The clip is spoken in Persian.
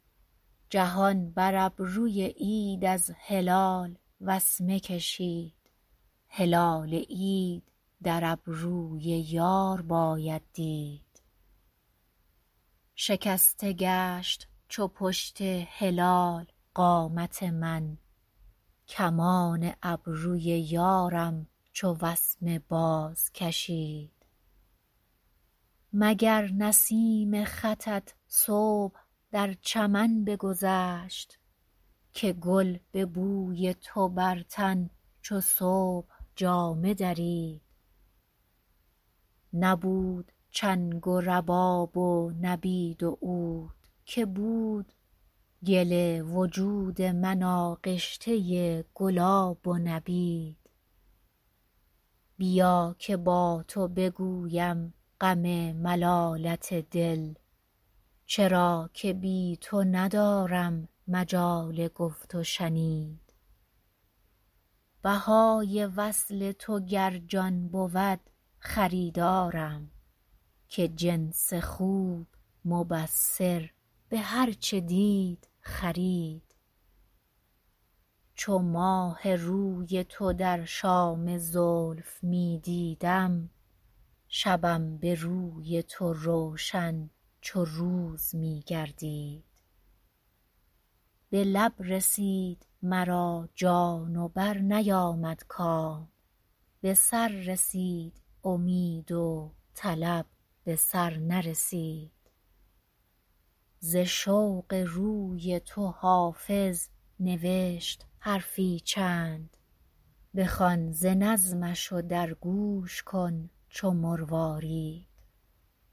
جهان بر ابروی عید از هلال وسمه کشید هلال عید در ابروی یار باید دید شکسته گشت چو پشت هلال قامت من کمان ابروی یارم چو وسمه بازکشید مگر نسیم خطت صبح در چمن بگذشت که گل به بوی تو بر تن چو صبح جامه درید نبود چنگ و رباب و نبید و عود که بود گل وجود من آغشته گلاب و نبید بیا که با تو بگویم غم ملالت دل چرا که بی تو ندارم مجال گفت و شنید بهای وصل تو گر جان بود خریدارم که جنس خوب مبصر به هر چه دید خرید چو ماه روی تو در شام زلف می دیدم شبم به روی تو روشن چو روز می گردید به لب رسید مرا جان و برنیامد کام به سر رسید امید و طلب به سر نرسید ز شوق روی تو حافظ نوشت حرفی چند بخوان ز نظمش و در گوش کن چو مروارید